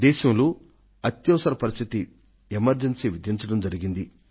దేశంలో అత్యవసర పరిస్థితి ఎమర్జెన్సీని విధించడం జరిగింది